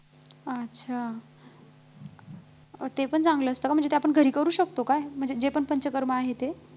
अच्छा ते पण चांगलं असतं का म्हणजे ते आपण घरी करू शकतो का म्हणजे जे पण पंचकर्म आहे ते